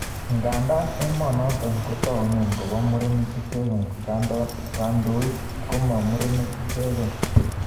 Ngandaa emonotok kotakunei kopo murenik ichekei, kandoik koma murenik ichegei